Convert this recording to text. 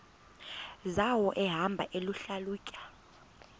zawo ehamba eyihlalutya